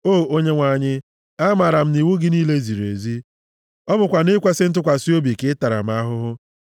O Onyenwe anyị, amaara m na iwu gị niile ziri ezi, ọ bụkwa nʼikwesị ntụkwasị obi ka ị tara m ahụhụ.